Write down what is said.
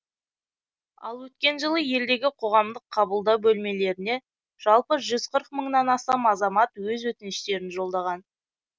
ал өткен жылы елдегі қоғамдық қабылдау бөлмелеріне жалпы жүз қырық мыңнан астам азамат өз өтініштерін жолдаған